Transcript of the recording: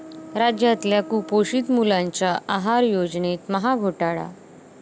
राज्यातल्या कुपोषित मुलांसाठीच्या आहार योजनेत महाघोटाळा!